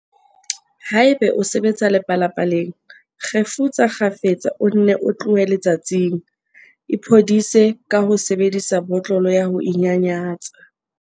Haeba o sebetsa lepalapaleng, kgefutsa kgafetsa o nne o tlohe letsatsing. Iphodise ka ho sebedisa botlolo ya ho inyanyatsa.